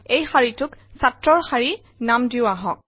এই শাৰীটোক ছাত্ৰৰ শাৰী নাম দিওঁ আহক